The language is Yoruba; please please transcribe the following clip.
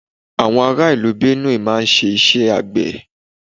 Àwọn ará ìlú Benue máà ń ṣe iṣẹ́ àgbé